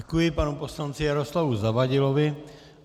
Děkuji panu poslanci Jaroslavu Zavadilovi.